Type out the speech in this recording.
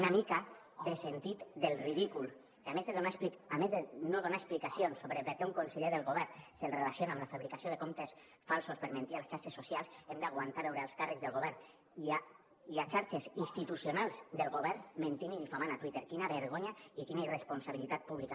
una mica de sentit del ridícul que a més de no donar explicacions sobre per què un conseller del govern se’l relaciona amb la fabricació de comptes falsos per mentir a les xarxes socials hem d’aguantar veure alts càrrecs del govern i a xarxes institucionals del govern mentint i difamant a twitter quina vergonya i quina irresponsabilitat pública